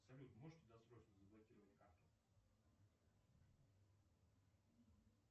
салют можете досрочно заблокировать карту